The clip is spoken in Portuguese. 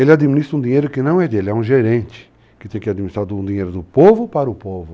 Ele administra um dinheiro que não é dele, é um gerente que tem que administrar um dinheiro do povo para o povo.